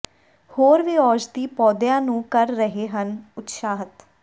ਹੋਰ ਵੀ ਔਸ਼ਧੀ ਪੌਦਿਆਂ ਨੂੰ ਕਰ ਰਹੇ ਹਨ ਉਤਸ਼ਾਹਤ